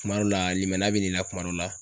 Kuma dɔ la limaniya bin'i la kuma dɔ la.